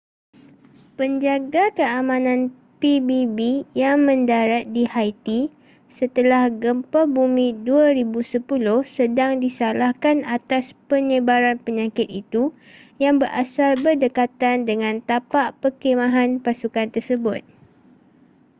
penjaga keamanan pbb yang mendarat di haiti setelah gempa bumi 2010 sedang disalahkan atas penyebaran penyakit itu yang berasal berdekatan dengan tapak perkhemahan pasukan tersebut